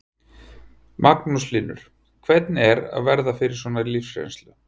Magnús Hlynur: Hvernig er að verða fyrir svona lífsreynslu?